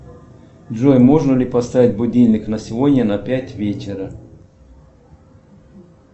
джой можно ли поставить будильник на сегодня на пять вечера